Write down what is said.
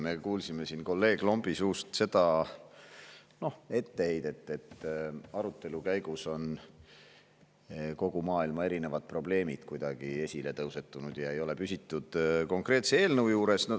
Me kuulsime siin kolleeg Lombi suust etteheidet, et arutelu käigus on kogu maailma probleemid tõusetunud ja ei ole püsitud konkreetse eelnõu juures.